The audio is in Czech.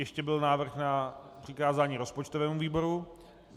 Ještě byl návrh na přikázání rozpočtovému výboru.